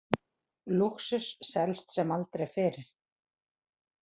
Lúxus selst sem aldrei fyrr